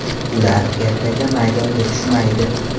Ular ertaga maydonga tushmaydi.